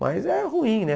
Mas é ruim, né?